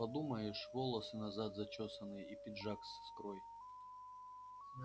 подумаешь волосы назад зачёсаны и пиджак с искрой